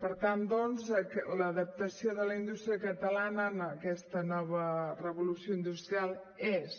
per tant doncs l’adaptació de la indústria catalana a aquesta nova revolució industrial és